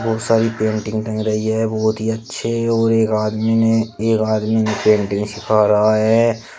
बहोत सारी पेंटिंग्स टंग रही है बहोत ही अच्छे और एक आदमी ने एक आदमी इन्हे पेंटिंग सीखा रहा है।